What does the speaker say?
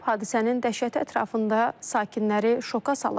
Hadisənin dəhşəti ətrafında sakinləri şoka salıb.